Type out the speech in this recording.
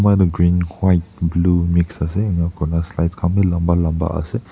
edu green white blue mix ase enakurna slides khan bi lamba lamba ase.